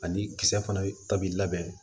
Ani kisɛ fana ta bi labɛn